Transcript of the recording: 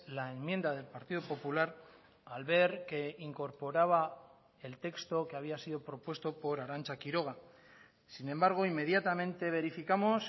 la enmienda del partido popular al ver que incorporaba el texto que había sido propuesto por arantza quiroga sin embargo inmediatamente verificamos